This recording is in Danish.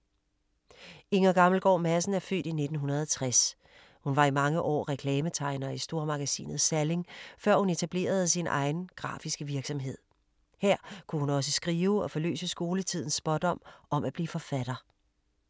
Inger Gammelgaard Madsen er født i 1960. Hun var i mange år reklametegner i stormagasinet Salling før hun etablerede sin egen grafiske virksomhed. Her kunne hun også skrive og forløse skoletidens spådom om at blive forfatter.